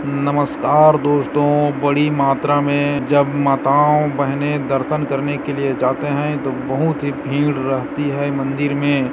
नमस्कार दोस्तों बड़ी मात्रा में जब माताओं बहनें दर्शन करने के लिए जाते हैंतो बहुत ही भीड़ रहती है मंदिर में --